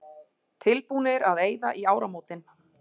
Tilbúnir að eyða í áramótin